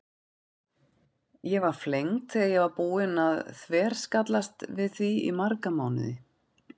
Ég var flengd þegar ég var búin að þverskallast við því í marga mánuði.